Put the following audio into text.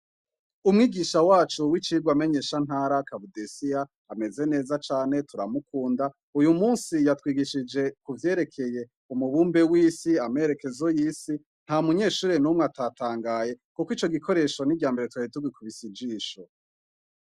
Umwigisha wacu wicigwa menyeshantara kabudesiya ameze neza cane turamukunda uyumusi yatwigishije kuvyerekeye umubumbe w'isi amerekezo y'isi ntamunyeshure numwe atatangaye kuko ico gikoresho niryambere twari tugikubise ijisho.